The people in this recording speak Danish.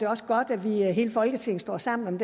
også godt at hele folketinget står sammen